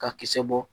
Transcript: Ka kisɛ bɔ